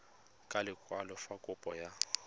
ka lekwalo fa kopo ya